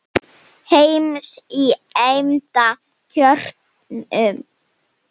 heims í eymda kjörum